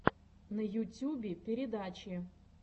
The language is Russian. на ютюбе передачи